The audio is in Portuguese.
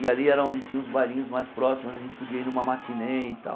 E ali era onde tinha os bailinhos mais próximos, onde a gente podia ir numa matinê e tal.